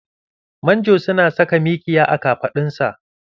Manjo su na saka mikiya a kafaɗun sa